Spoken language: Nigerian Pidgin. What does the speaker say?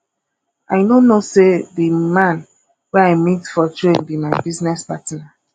i no know say the man wey i meet for train be my business partner